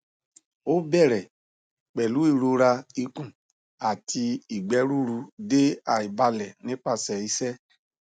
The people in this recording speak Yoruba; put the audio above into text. o bere pelu irora ikun ati igbe ruru de aibale nipase ise